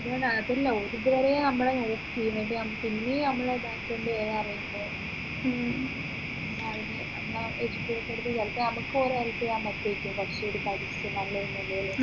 അതല്ല ഓര് ഇതുവരെ നമ്മളെ help ചെയ്യുന്നുണ്ട് നമ്മുക്ക് ഇനിയും നമ്മളെ ഇതാക്കേണ്ടെന്ന് പറയുമ്പോ ഒന്ന് ആലോചിച്ചേ നമ്മളെ ചിലപ്പോ നമ്മക്ക് ഓരേ help ചെയ്യാൻ പറ്റു ഏരിക്കും നല്ലതിനല്ലേ വെച്ച്